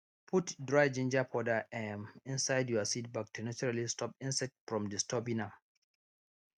put dry ginger powder um inside your seed bag to naturally stop insect from disturbing am